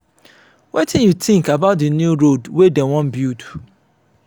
wetin you think about the new road wey dem wan build?